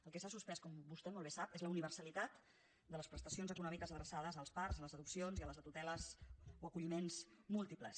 el que s’ha suspès com vostè molt bé sap és la univer·salitat de les prestacions econòmiques adreçades als parts les adopcions i a les tuteles o acolliments múl·tiples